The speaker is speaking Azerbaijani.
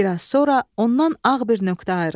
Bir az sonra ondan ağ bir nöqtə ayrıldı.